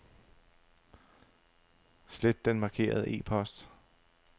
Slet den markerede e-post.